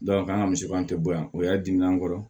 an ka misiban tɛ boyo o y'a dimin'a kɔrɔ